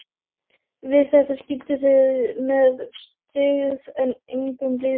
Við þetta skildu þeir með styggð en engum blíðskap.